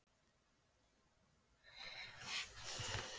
Svara þurfti fjölda bréfa, símskeytum og öðru.